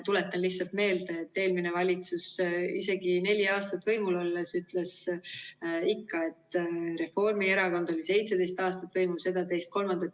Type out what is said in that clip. Tuletan lihtsalt meelde, et eelmine valitsus isegi neli aastat võimul olles ütles ikka, et Reformierakond oli 17 aastat võimul, seda, teist ja kolmandat.